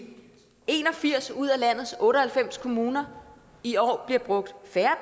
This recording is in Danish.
en og firs ud af landets otte og halvfems kommuner i år bliver brugt færre